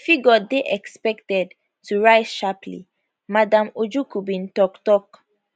di figure dey expected to rise sharply madam ojukwu bin tok tok